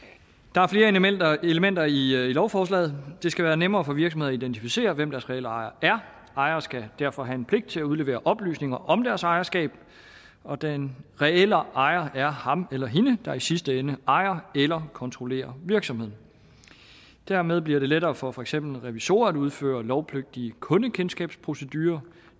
der er flere elementer elementer i lovforslaget det skal være nemmere for virksomheder at identificere hvem deres reelle ejere er ejere skal derfor have en pligt til at udlevere oplysninger om deres ejerskab og den reelle ejer er ham eller hende der i sidste ende ejer eller kontrollerer virksomheden dermed bliver det lettere for for eksempel revisorer at udføre lovpligtige kundekendskabsprocedurer